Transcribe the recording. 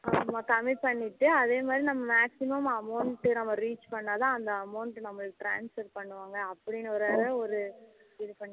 அது கம்மி பண்ணிட்டு அதே மாதிரி நம்ம maximum amount reach பன்னா தான் அந்த amount நமக்கு transfer பண்ணுவாங்க அப்படின்னு ஒரு ஒரு இது பண்ணிட்டு